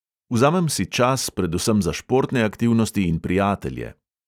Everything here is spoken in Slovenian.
Vzamem si čas predvsem za športne aktivnosti in prijatelje.